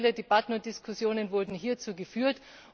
Viele, viele Debatten und Diskussionen wurden hierzu geführt.